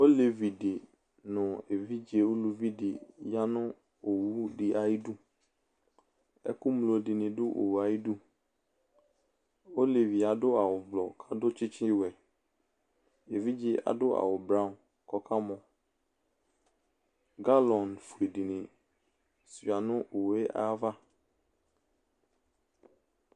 Olevi de no evidze oluvi de ya no owu ayiduaɛku mlo de ne do owu ayiduOlevie ado awu blɔ kakɔ tsetsewɛEvidze aso awu braun kɔla mɔGalɔm fue de ne sua no owu ava